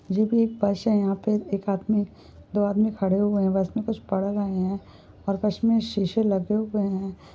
ये भी एक बस है। यहाँ पे एक आदमी दो आदमी खड़े हुए हैं। बस में कुछ पढ़ रहे हैं और बस में शीशे लगे हुए हैं।